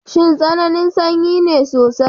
Shin tsananin sanyi ne sosai?